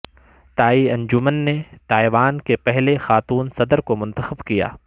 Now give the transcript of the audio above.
تائئی انجمن نے تائیوان کے پہلے خاتون صدر کو منتخب کیا